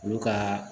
Olu ka